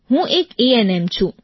હું એક એએનએમ છું